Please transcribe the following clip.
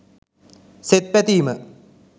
සෙත් පැතීම